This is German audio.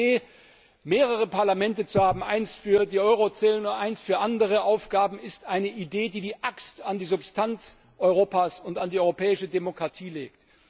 Die Idee, mehrere Parlamente zu haben, eins für das Euro Währungsgebiet, eins für andere Aufgaben, ist eine Idee, die die Axt an die Substanz Europas und an die europäische Demokratie legt.